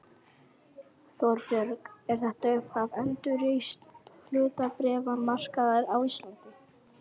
Þorbjörn: Er þetta upphaf endurreists hlutabréfamarkaðar á Íslandi?